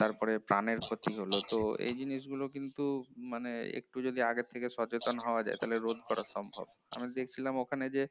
তারপর প্রাণের ক্ষতি হলো তো এই জিনিসগুলো কিন্তু মানে একটু যদি আগের থেকে সচেতন হয়ে যেত তাহলে রোদ করা সম্ভব আমি দেখছিলাম ওখানে যে